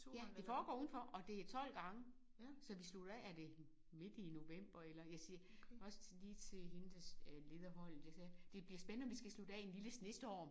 Ja det foregår udenfor og det er 12 gange. Så vi slutter af er det midt i november eller jeg siger også lige til hende der leder holdet det er det bliver spændende at se om vi skal slutte af i en lille snestorm